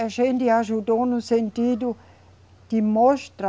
A gente ajudou no sentido de mostrar